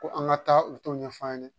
Ko an ka taa u t'o ɲɛfɔ an ɲɛna